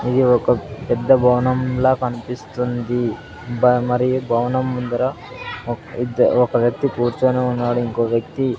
ఇది ఒక పెద్ద భవనం లా కన్పిస్తుంది బ మరి ఈ భవనం ముందర ఒక్ ఇద్ ఒక వ్యక్తి కూర్చొని ఉన్నాడు ఇంకో వ్యక్తి --